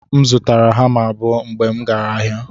M zụtara hama abụo mgbe m gara ahịa.